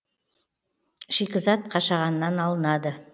шикізат қашағаннан алынады